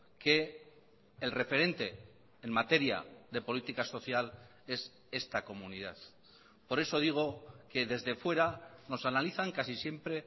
que el referente en materia de política social es esta comunidad por eso digo que desde fuera nos analizan casi siempre